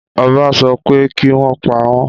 Ọba sọ pé, kí wọ́n pa wọ́n!